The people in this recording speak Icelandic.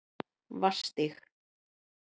Vatnsstíg